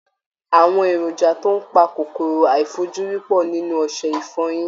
Àwọn èrònjà tó ń pa kòkòrò àìfojúrí pọ̀ nínú ọṣẹ ìfọyín